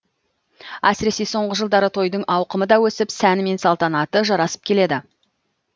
әсіресе соңғы жылдары тойдың ауқымы да өсіп сәні мен салтанаты жарасып келеді